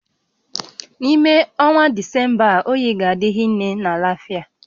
N'ime ọnwa Disemba a, oyi ga-adị hinne na Lafịa